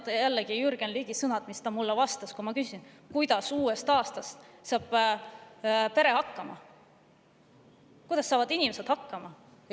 Meenuvad jällegi Jürgen Ligi sõnad, mis ta mulle, kui ma küsisin, kuidas saavad uuest aastast pered hakkama, kuidas saavad inimesed hakkama.